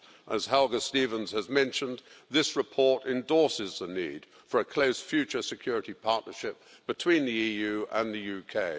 As Helga Stevens has mentioned, this report endorses the need for a close future security partnership between the EU and the UK.